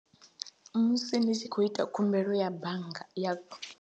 Musi ni tshi khou ita khumbelo ya bannga ya khu.